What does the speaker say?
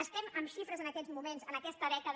estem amb xifres en aquests moments en aquesta dècada